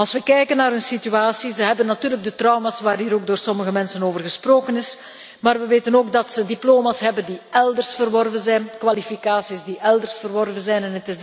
Als we kijken naar hun situatie, hebben zij natuurlijk trauma's waarover door sommige mensen al gesproken is, maar we weten ook dat ze diploma's hebben die elders verworven zijn, kwalificaties die elders verworven zijn.